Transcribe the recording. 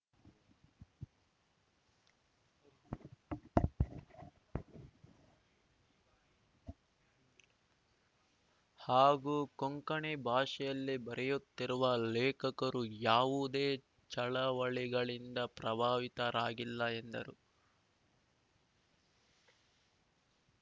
ಹಾಗೂ ಕೊಂಕಣಿ ಭಾಷೆಯಲ್ಲಿ ಬರೆಯುತ್ತಿರುವ ಲೇಖಕರು ಯಾವುದೇ ಚಳವಳಿಗಳಿಂದ ಪ್ರಭಾವಿತರಾಗಿಲ್ಲ ಎಂದರು